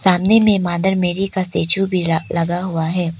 सामने में mother Mary का स्टेचू भी ल लगा हुआ है।